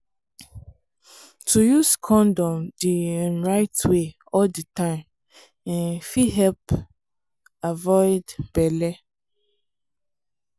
to use condom the um right way all the time um fit help um avoid belle